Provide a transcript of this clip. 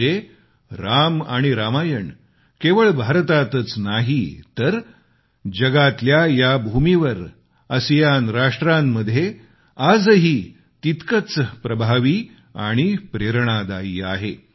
म्हणजे राम आणि रामायण केवळ भारतातच नाही तर जगातल्या या भूमीवर आसियान राष्ट्रांमध्ये आजही तितकंच प्रभावी आणि प्रेरणादायी आहे